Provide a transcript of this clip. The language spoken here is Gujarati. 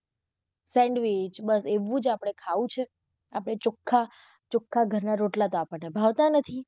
Sandwish બસ એવુ જ આપડે ખાવું છે અપડે ચોખ્ખા, ચોખ્ખા ઘર ના રોટલા તો આપણને ભાવતા નથી.